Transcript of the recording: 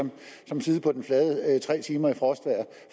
som at sidde på den flade i tre timer i frostvejr